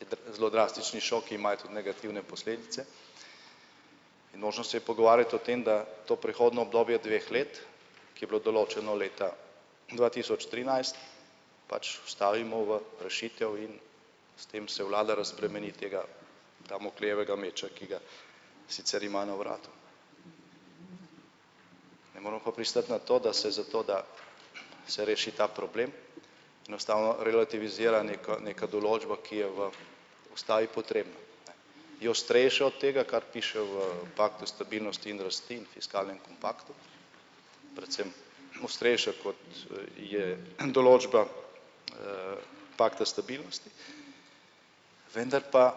in da zelo drastični šoki imajo tudi negativne posledice in možnost se je pogovarjati o tem, da to prehodno obdobje dveh let, ki je bilo določeno leta dva tisoč trinajst, pač stavimo v rešitev in s tem se vlada razbremeni tega damoklejevega meča, ki ga sicer ima na vratu. Ne moramo pa pristati na to, da se za to, da se reši ta problem, enostavno relativizira neka neka določba, ki je v ustavi potrebna, ne. Je starejše od tega, kar piše v paktu stabilnosti in rasti in fiskalnem kompaktu, predvsem ostrejše, kot je določba, pakta stabilnosti, vendar pa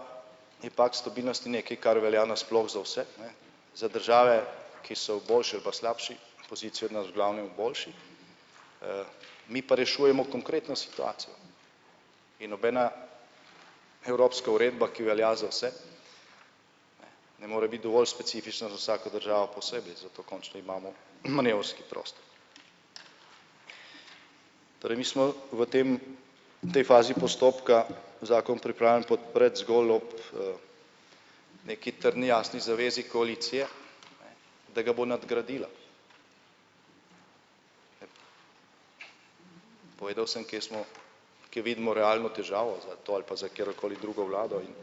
je pakt stabilnosti nekaj, kar velja nasploh za vse, ne, za države, ki so v boljši ali pa slabši poziciji od nas, v glavnem boljši, mi pa rešujemo konkretno situacijo. In nobena evropska uredba, ki velja za vse, ne more biti dovolj specifična za vsako državo posebej, zato končno imamo manevrski prostor. Torej mi smo v tem tej fazi postopka, zakon pripravljen po pred zgolj ob, neki trdni jasni zavezi koalicije, da ga bo nadgradila. Povedal sem, kje smo, kje vidimo realno težavo za to ali pa za katero koli drugo vlado in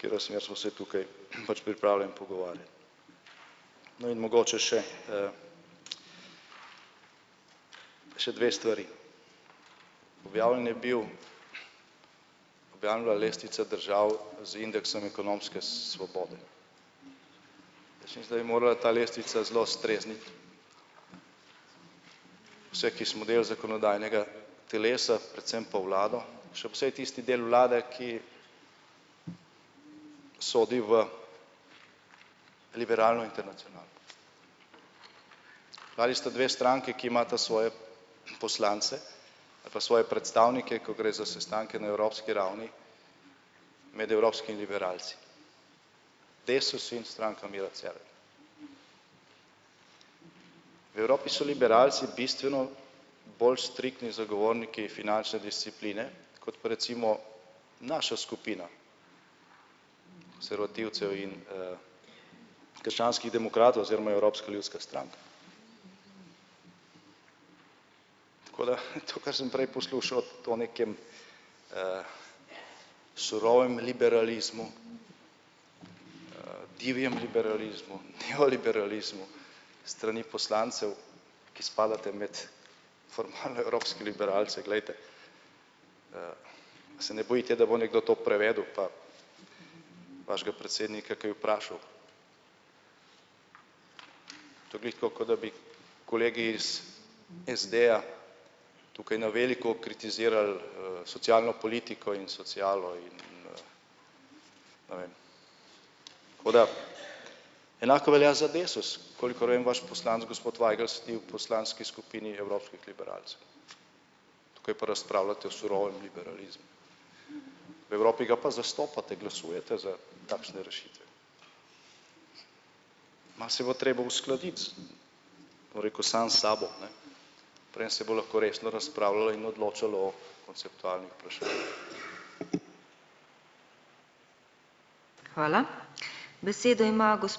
katera smer, smo si tukaj pač pripravljen pogovarjati. No, in mogoče še, še dve stvari. Objavljen je bil, objavljena je bila lestvica držav z indeksom ekonomske svobode. Jaz mislim, da bi morala ta lestvica zelo strezniti vse, ki smo del zakonodajnega telesa, predvsem pa vlado, še posebej tisti del vlade, ki sodi v liberalno internacionalo. Vladi sta dve stranki, ki imata svoje poslance ali pa svoje predstavnike, ko gre za sestanke na evropski ravni med evropski liberalci. Desus in Stranka Mira Cerarja. V Evropi so liberalci bistveno bolj striktni zagovorniki finančne discipline kot pa recimo naša skupina konservativcev in, krščanskih demokratov oziroma Evropska ljudska stranka. Tako da to, kar sem prej poslušal, to nekem, surovem liberalizmu, divjem liberalizmu, neoliberalizmu strani poslancev, ki spadate med formalne evropske liberalce, glejte. Se ne bojite, da bo nekdo to prevedel pa vašega predsednika kaj vprašal? To glih tako, kot da bi kolegi iz SD-ja tukaj na veliko kritizirali, socialno politiko in socialo in, ne vem. Tako da enako velja za Desus, v kolikor vem, vaš poslanec gospod Vajgl sedi v poslanski skupini evropskih liberalcev. Tukaj pa razpravljate o surovem liberalizmu. V Evropi ga pa zastopate, glasujete za takšne rešitve. Nas je bilo treba uskladiti z, bom rekel, sam s sabo, ne, preden se bo lahko resno razpravljalo in odločalo o konceptualnih vprašanjih.